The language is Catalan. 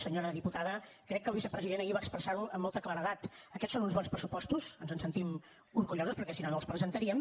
senyora diputada crec que el vicepresident ahir va expressar ho amb molta claredat aquests són uns bons pressupostos ens en sentim orgullosos perquè si no no els presentaríem